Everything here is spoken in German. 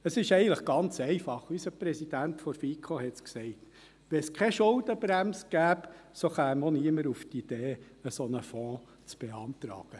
Es ist eigentlich ganz einfach – unser Präsident der FiKo sagte es: Gäbe es keine Schuldenbremse, so käme auch niemand auf die Idee, einen solchen Fonds zu beantragen.